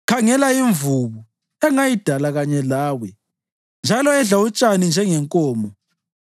Khangela imvubu, engayidala kanye lawe njalo edla utshani njengenkomo.